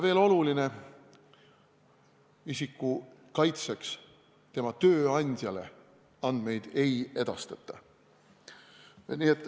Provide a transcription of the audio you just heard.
Veel on oluline, et isiku kaitseks tema tööandjale andmeid ei edastata.